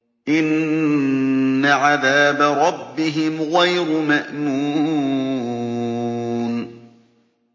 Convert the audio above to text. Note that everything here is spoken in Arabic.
إِنَّ عَذَابَ رَبِّهِمْ غَيْرُ مَأْمُونٍ